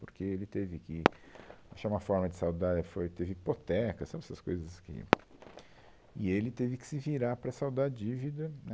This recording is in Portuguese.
Porque ele teve que achar uma forma de saldar, é, foi, teve hipoteca, sabe essas coisas que... E ele teve que se virar para saldar a dívida, né?